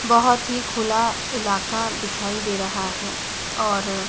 बहोत ही खुल इलाका दिखाई दे रहा है और--